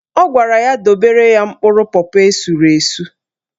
Ọ gwara ya dobere ya mkpụrụ pọpọ esuru esu.